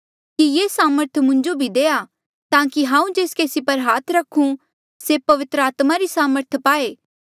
कि ये सामर्थ मुंजो भी देआ ताकि हांऊँ जेस केसी पर हाथ रखूं से पवित्र आत्मा री सामर्थ पाए